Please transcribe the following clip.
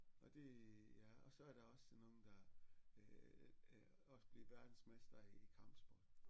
Og det ja og så er der også sådan nogle der øh også blev verdensmester i kampsport